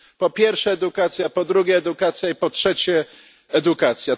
Po pierwsze edukacja, po drugie edukacja i po trzecie edukacja.